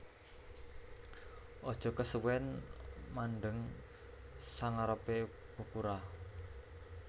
Aja kesuwen mandheng sangarepe ukura